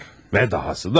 Və dahası da var.